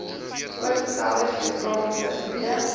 voorgestelde geografiese gebiede